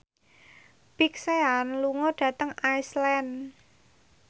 Big Sean lunga dhateng Iceland